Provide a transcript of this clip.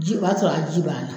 Ji o y'a sɔrɔ a ji bana.